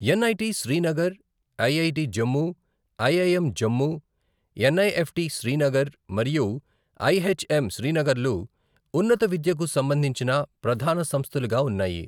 NIT Srinagar, IIT Jammu, IIM Jammu, NIFT Srinagar మరియు IHM శ్రీనగర్లు ఉన్నత విద్యకు సంబంధించిన ప్రధాన సంస్థలుగా ఉన్నాయి.